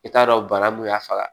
I t'a dɔn bana mun y'a faga